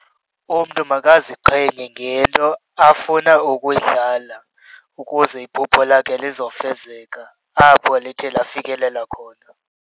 Umntu makaziqhenye ngento afuna ukuyidlala ukuze iphupho lakhe lizofezeka apho lithe bafikelela khona.